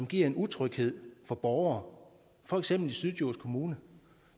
giver en utryghed for borgere for eksempel i syddjurs kommune